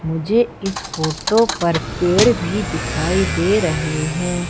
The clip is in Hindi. मुझे इस फोटो पर पेड़ भी दिखाई दे रहे हैं।